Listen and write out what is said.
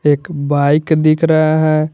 एक बाइक दिख रहा है।